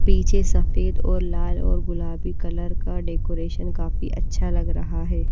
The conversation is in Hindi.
पीछे सफेद और लाल और गुलाबी कलर का डेकोरेशन काफी अच्छा लग रहा है।